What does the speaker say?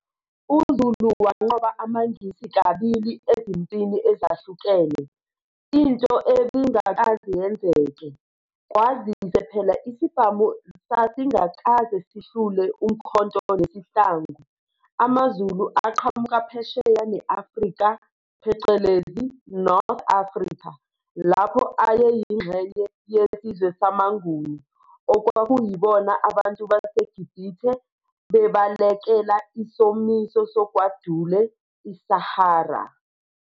UZulu wanqoba amaNgisi kabili ezimpini ezahlukene, into ebingakaze yenzeke, kwazise phela isibhamu sasingakaze sihlule umkhonto nesihlangu. AmaZulu aqhamuka phesheya neAfrika phecelezi, North Africa, lapho aye yingxenye yesizwe samaNguni, okwakuyibona abantu baseGibhithe bebalekela isomiso sogwadule iSahara.